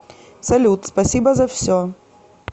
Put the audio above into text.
салют спасибо за все